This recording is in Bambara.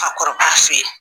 Fakɔrɔba fɛ yen